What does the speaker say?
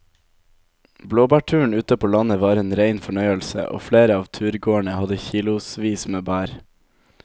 Blåbærturen ute på landet var en rein fornøyelse og flere av turgåerene hadde kilosvis med bær.